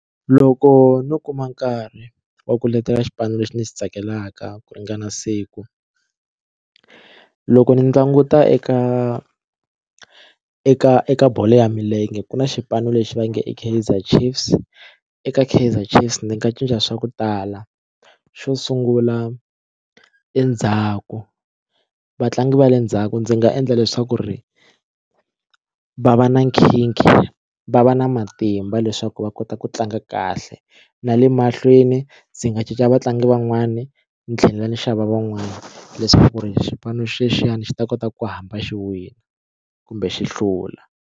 Loko no kuma nkarhi wa ku letela xipano lexi ndzi xi tsakelaka ku ringana siku loko ni languta eka eka eka bolo ya milenge ku na xipano lexi va nge i Kaizer Chiefs eka Kaizer Chiefs ndzi nga cinca swa ku tala xo sungula endzhaku vatlangi va le ndzhaku ndzi nga endla leswaku ri va va na nkhinkhi va va na matimba leswaku va kota ku tlanga kahle na le mahlweni ndzi nga cinca vatlangi van'wani ni tlhela ni xava van'wani leswaku ri xipano xexiyani xi ta kota ku hamba xi wina kumbe xi hlula.